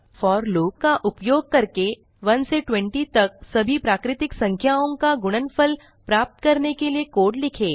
four loop का उपयोग करके 1 से 20 तक सभी प्राकृतिक संख्याओं का गुणनफल प्राप्त करने के लिए कोड लिखें